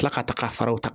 Tila ka taga ka fara u kan